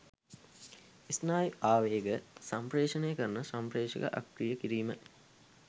ස්නායු ආවේග සම්ප්‍රේෂණය කරන සම්ප්‍රේෂක අක්‍රිය කිරීම